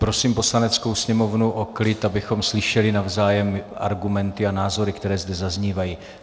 Prosím Poslaneckou sněmovnu o klid, abychom slyšeli navzájem argumenty a názory, které zde zaznívají.